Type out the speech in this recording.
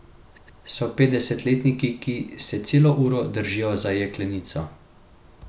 So petdesetletniki, ki se celo uro držijo za jeklenico.